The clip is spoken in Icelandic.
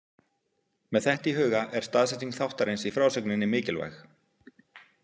Með þetta í huga er staðsetning þáttarins í frásögninni mikilvæg.